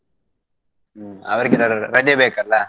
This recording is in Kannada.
ಹ್ಮ್ ಅವ್ರಿಗೆ ರಜೆ ಬೇಕಲ್ಲ.